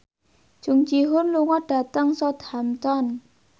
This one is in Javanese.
Jung Ji Hoon lunga dhateng Southampton